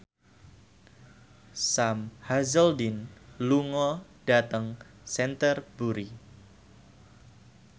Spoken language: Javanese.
Sam Hazeldine lunga dhateng Canterbury